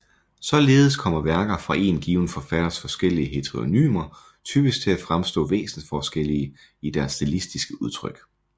Således kommer værker fra én given forfatters forskellige heteronymer typisk til at fremstå væsensforskellige i deres stilistiske udtryk